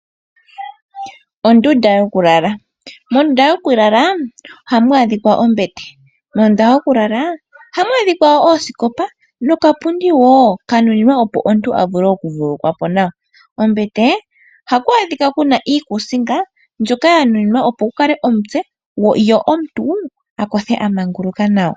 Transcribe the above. Ondunda yokulala mondunda yokulala ohamu adhika ombete mondunda yokulala ohamu adhika wo okapundi woo kanuninwa opo omuntu a vulr okuvululukwa po nawa kombete ohaku adhika iikusinga mbyoka yanunimwa opo kule omutse yo omuntu a kothe amanguluka nawa.